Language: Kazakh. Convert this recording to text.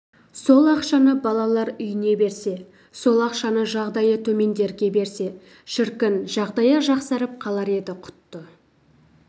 сол ақшаны балалар үйіне берсе сол ақшаны жағдайы төмендерге берсе шіркін жағдайы жақсарып қалар еді құтты